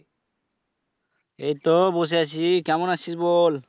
এইতো বসে আছি কেমন আছিস বল?